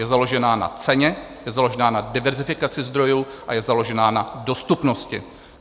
Je založená na ceně, je založená na diverzifikaci zdrojů a je založená na dostupnosti.